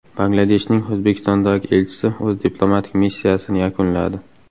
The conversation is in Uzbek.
Bangladeshning O‘zbekistondagi elchisi o‘z diplomatik missiyasini yakunladi.